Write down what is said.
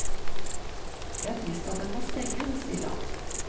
Det er trist at den må stenge, sier han.